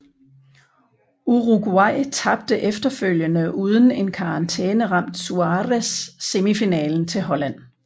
Uruguay tabte efterfølgende uden en karantæneramt Suárez semifinalen til Holland